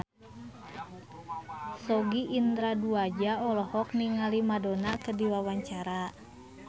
Sogi Indra Duaja olohok ningali Madonna keur diwawancara